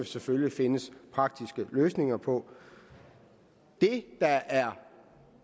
selvfølgelig findes praktiske løsninger på det der er